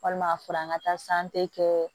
Walima furan ka taa kɛ